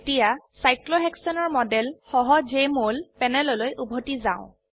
এতিয়া সাইক্লোহেক্সেনৰ মডেল সহ জেএমঅল প্যানেললৈ উভতি যাও